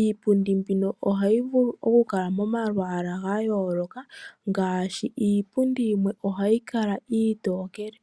iipu di ohayikala momalwaala gayooloka ngaashi iipu di iitokele.